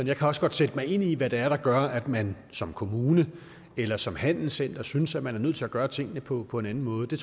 jeg kan også godt sætte mig ind i hvad det er der gør at man som kommune eller som handelscenter synes man er nødt til at gøre tingene på på en anden måde det